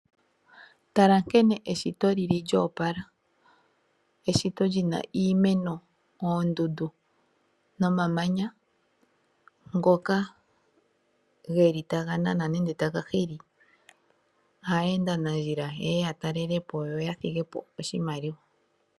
Tala nkene eshito li li lyo opala, eshito li na iimeno, oondundu nomamanya ngoka geli taga nana nenge taga hili aayendanandjila ye ya talele po yo ya thige po oshimaliwa.